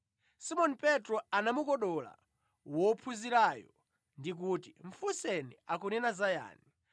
Simoni Petro anamukodola wophunzirayo ndi kuti, “Mufunseni akunena za yani.”